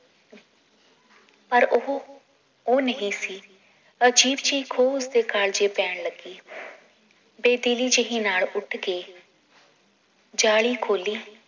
ਪਰ ਉਹ ਉਹ ਨਹੀਂ ਸੀ ਅਜੀਬ ਜੀ ਖੋ ਉਸਦੇ ਗੱਲ ਚ ਪੈਣ ਲੱਗੀ ਬੇਦਿਲੀ ਜਿਹੀ ਨਾਲ ਉੱਠ ਕੇ ਜਾਲੀ ਖੋਲੀ